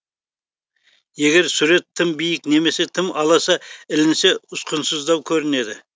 егер сурет тым биік немесе тым аласа ілінсе ұсқынсыздау көрінеді